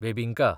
बेबिंका